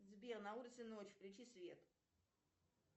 сбер на улице ночь включи свет